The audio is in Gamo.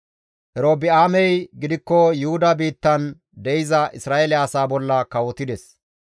Erobi7aamey gidikko Yuhuda biittan de7iza Isra7eele asaa bolla kawotides.